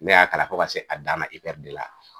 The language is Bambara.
Ne y'a kalan fo ka se a dan na IPR de la.